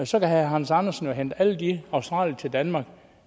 så kan herre hans andersen jo hente alle de australiere til danmark